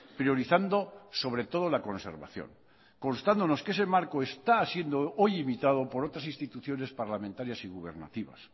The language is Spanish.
priorizando sobre todo la conservación constándonos que ese marco está siendo hoy evitado por otras instituciones parlamentarias y gubernativas